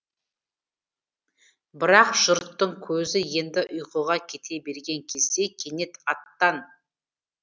бірақ жұрттың көзі енді ұйқыға кете берген кезде кенет аттан